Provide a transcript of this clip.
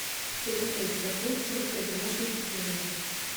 приготовить коктейль с водкой в домашних условиях